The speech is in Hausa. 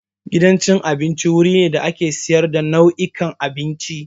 Gidan abinci wuri ne da ake sayar da nau'ikan abinci.